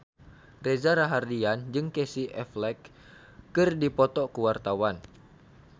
Reza Rahardian jeung Casey Affleck keur dipoto ku wartawan